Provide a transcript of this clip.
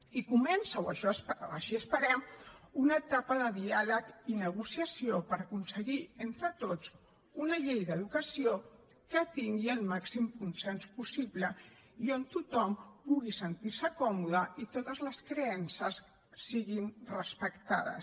i comença o així ho esperem una etapa de diàleg i negociació per aconseguir entre tots una llei d’educació que tingui el màxim consens possible i on tothom pugui sentir se còmode i totes les creences siguin respectades